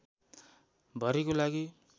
भरिको लागि